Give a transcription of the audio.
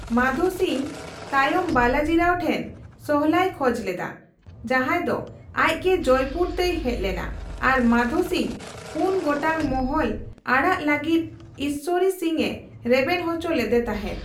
ᱢᱟᱫᱷᱳ ᱥᱤᱝ ᱛᱟᱭᱚᱢ ᱵᱟᱞᱟᱡᱤᱨᱟᱣ ᱴᱷᱮᱱ ᱥᱚᱞᱦᱟᱭ ᱠᱷᱚᱡᱽ ᱞᱮᱫᱟ, ᱡᱟᱦᱟᱭ ᱫᱚ ᱟᱡ ᱜᱮ ᱡᱚᱭᱯᱩᱨ ᱛᱮᱭ ᱦᱮᱡ ᱞᱮᱱᱟ ᱟᱨ ᱢᱟᱫᱷᱳ ᱥᱤᱝᱫᱚ ᱯᱩᱱ ᱜᱚᱴᱟᱝ ᱢᱚᱦᱚᱞ ᱟᱲᱟᱜ ᱞᱟᱹᱜᱤᱫ ᱤᱥᱥᱚᱨᱤ ᱥᱤᱝ ᱮ ᱨᱮᱵᱮᱱ ᱦᱚᱪᱚ ᱞᱮᱫ ᱛᱟᱦᱮᱫ ᱾